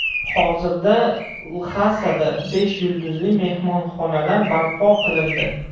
Hozirda Lxasada besh yulduzli mehmonxonalar barpo qilindi.